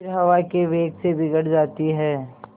फिर हवा के वेग से बिगड़ जाती हैं